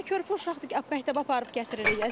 Məsələn, körpə uşaqdır ki, məktəbə aparıb gətiririk.